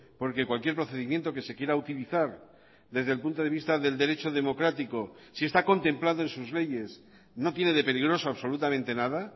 porque cualquier procedimiento que se quiera utilizar desde el punto de vista del derecho democrático si está contemplado en sus leyes no tiene de peligroso absolutamente nada